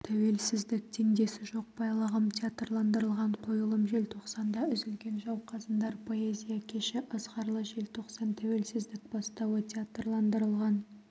тәуелсіздік теңдесі жоқ байлығым театрландырылған қойылым желтоқсанда үзілген жауқазындар поэзия кеші ызғарлы желтоқсан тәуелсіздік бастауы театрландырылған